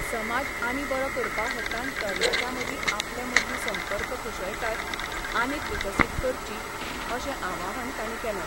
समाज आनी बरो करपा हेतान तरणाट्यां मदीं आपले मदली संपर्क कुशळटाय आनीक विकसीत करची अशें आवाहन तांणी केलें.